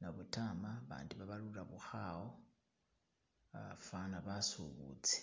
nabudama abandi babalula bukhaawa uh fana basubuzi